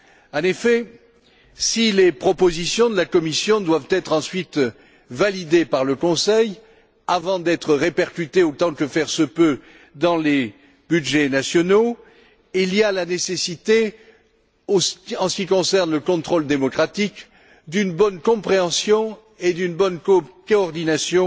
En effet, si les propositions de la Commission doivent être ensuite validées par le Conseil, avant d'être répercutées autant que faire se peut dans les budgets nationaux, la nécessité s'impose, en ce qui concerne le contrôle démocratique, d'une bonne compréhension et d'une bonne coordination